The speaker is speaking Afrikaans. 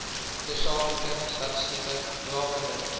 tersaaklike statistieke rakende